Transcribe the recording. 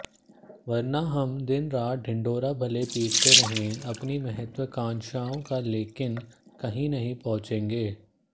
वरना हम दिन रात ढिंढोरा भले पीटते रहें अपनी महत्वाकांक्षाओं का लेकिन कहीं नहीं पहुंचेंगे